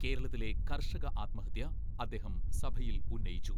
കേരളത്തിലെ കർഷക ആത്മഹത്യ അദ്ദേഹം സഭയിൽ ഉന്നയിച്ചു.